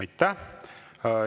Aitäh!